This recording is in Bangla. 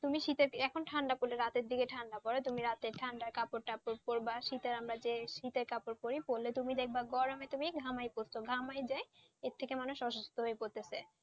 তুমি শীতের এখন ঠান্ডা পরে রাতের দিকে ঠান্ডা পরে তুমি রাতে ঠান্ডার কাপড় তাপর পরবে শীতে আমরা যে শীতের কাপড় পড়ি, পড়লে তুমি দেখবে গরমে তুমি ঘামিয়ে গেছো, ঘুমিয়ে দেয় এর থেকে মানুষ অসুস্থ হয়ে পড়ছে,